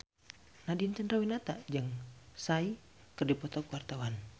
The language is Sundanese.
Nadine Chandrawinata jeung Psy keur dipoto ku wartawan